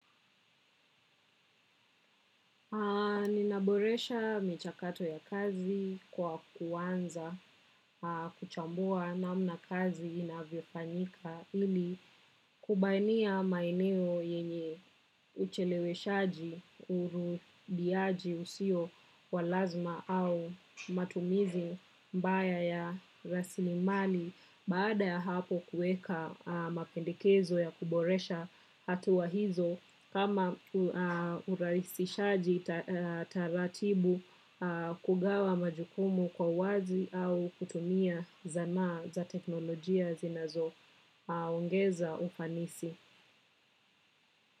Ninaboresha michakato ya kazi kwa kuwanza kuchambua namna kazi inavyofanyika ili kubainia maeneo yenye ucheleweshaji urudiaji usio wa lazma au matumizi mbaya ya rasilimali. Baada ya hapo kueka mapendekezo ya kuboresha hatua hizo kama ulaisishaji taratibu kugawa majukumu kwa uwazi au kutumia zanaa za teknolojia zinazo ongeza ufanisi.